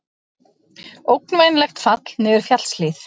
Ógnvænlegt fall niður fjallshlíð